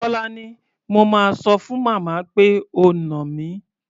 Tólání, mo máa sọ fún màmá pé o nà mí.